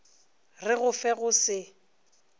re go fe go se